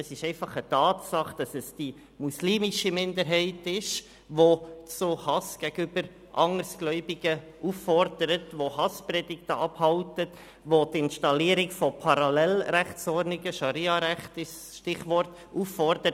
Es ist einfach eine Tatsache, dass es die muslimische Minderheit ist, die zu Hass gegenüber Andersgläubigen auffordert, Hasspredigten abhält und zur Installierung von Parallelrechtsordnungen – Scharia-Recht ist das Stichwort – auffordert.